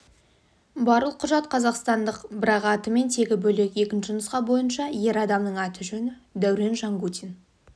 барлық құжат қазақстандық бірақ аты мен тегі бөлек екінші нұсқа бойынша ер адамның аты-жөні дәурен жангутин